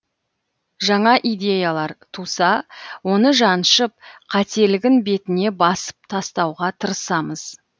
жаңа идеялар туса оны жаншып қателігін бетіне басып тастауға тырысамыз